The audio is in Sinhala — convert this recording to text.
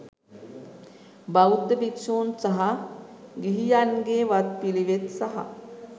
බෞද්ධ භික්ෂූන් සහ ගිහියන්ගේ වත්පිළිවෙත් සහ